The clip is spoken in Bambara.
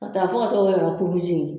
Ka taa fo ka t'o kɛ ka jenni